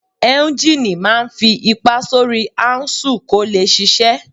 Éúnjínì máa n fi ipá sórí áúnsùl kó lè ṣiṣẹ́